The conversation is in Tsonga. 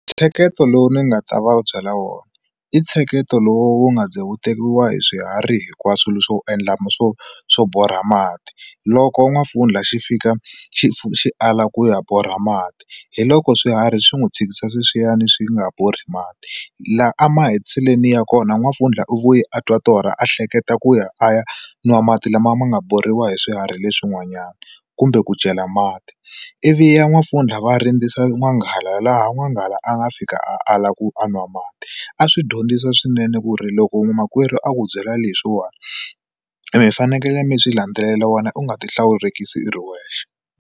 Ntsheketo lowu ni nga ta va byela wona i ntsheketo lowu wu nga ze wu tekiwa hi swiharhi hinkwaswo swo endla swo swo borha mati loko n'wampfundla xi fika xi xi ala ku ya borha mati hi loko swiharhi swi n'wi tshikisa sweswiyani swi nga borha mati laha a mahetiseleni ya kona n'wampfundla u vuye a twa torha a hleketa ku ya a ya nwa mati lama ma nga borhiwa hi swiharhi leswin'wanyana kumbe ku chela mati ivi ya n'wampfundla va rindzisa n'wanghala laha n'wanghala a nga fika ala ku a nwa mati a swi dyondzisa swinene ku ri loko makwerhu a ku byela leswiwani mi fanekele mi swi landzelela wena u nga ti hlawurekisi i ri wexe.